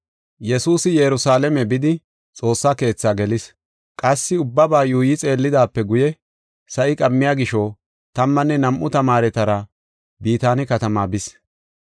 Yesuusi Yerusalaame bidi, Xoossaa Keetha gelis. Qassi ubbaba yuuyi xeellidaape guye, sa7i qammiya gisho, tammanne nam7u tamaaretara Bitaane katama bis.